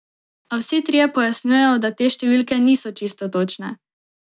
A vsi trije pojasnjujejo, da te številke niso čisto točne.